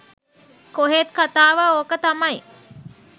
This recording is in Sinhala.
කොහෙත් කථාව ඕක තමයි.